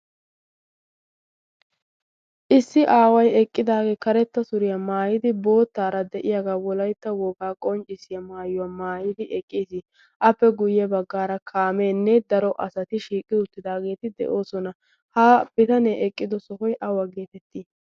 issi aaway eqqidaagee karetta suriyaa maayidi boottaara de'iyaagaa wolaitta wogaa qonccissiyaa maayuwaa maayidi eqqiis appe guyye baggaara kaameenne daro asati shiiqqi uttidaageeti de'oosona. ha bitanee eqqido sohoy awa geetettii?